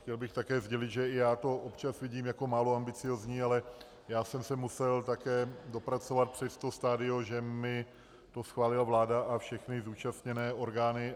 Chtěl bych také sdělit, že i já to občas vidím jako málo ambiciózní, ale já jsem se musel také dopracovat přes to stadium, že mi to schválila vláda a všechny zúčastněné orgány.